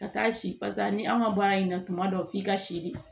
Ka taa si pasa ni an ka baara in na tuma dɔ f'i ka si di